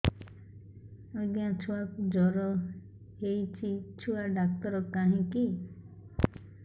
ଆଜ୍ଞା ଛୁଆକୁ ଜର ହେଇଚି ଛୁଆ ଡାକ୍ତର କାହିଁ କି